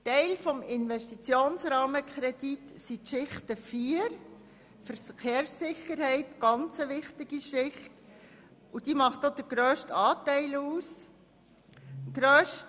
Teil des Investitionsrahmenkredits ist die wichtige Schicht 4, Verkehrssicherheit, welche den grössten Anteil ausmacht.